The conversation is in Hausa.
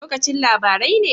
Lokacin labarai ne?